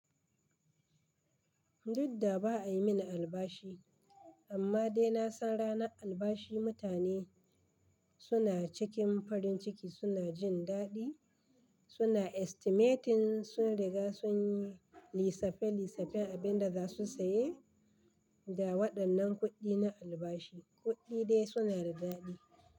Duk da ba ayi min albashi, amma dai na san ranar albashi mutane, suna cikin farin ciki, suna jin daɗi, suna estimating, sun riga sun yi lissafin lissafin abin da za su saye, da waɗannan kuɗi na albashi. Kuɗi dai suna da daɗi.